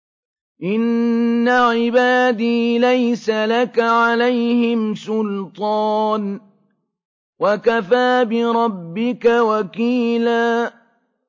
إِنَّ عِبَادِي لَيْسَ لَكَ عَلَيْهِمْ سُلْطَانٌ ۚ وَكَفَىٰ بِرَبِّكَ وَكِيلًا